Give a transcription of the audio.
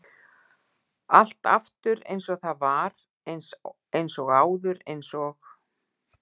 Allt aftur eins og það var- eins og áður- eins og-